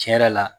Tiɲɛ yɛrɛ la